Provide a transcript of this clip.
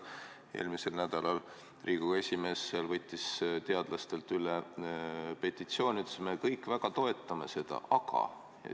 Eelmisel nädalal võttis Riigikogu esimees teadlastelt üle petitsiooni ja ütles: "Me kõik väga toetame seda, aga ...